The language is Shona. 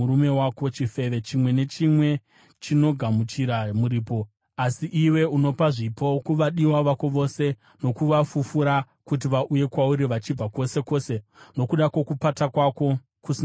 Chifeve chimwe nechimwe chinogamuchira muripo, asi iwe unopa zvipo kuvadiwa vako vose, nokuvafufura kuti vauye kwauri vachibva kwose kwose nokuda kwokupata kwako kusina unhu.